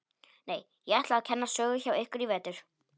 Nei, ég ætla að kenna sögu hjá ykkur í vetur.